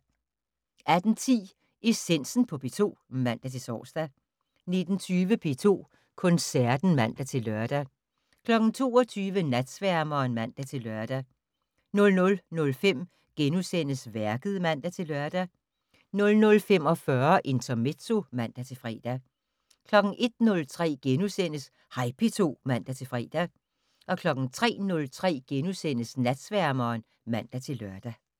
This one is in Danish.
18:10: Essensen på P2 (man-tor) 19:20: P2 Koncerten (man-lør) 22:00: Natsværmeren (man-lør) 00:05: Værket *(man-lør) 00:45: Intermezzo (man-fre) 01:03: Hej P2 *(man-fre) 03:03: Natsværmeren *(man-lør)